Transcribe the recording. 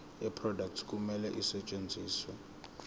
yeproduct kumele isetshenziswe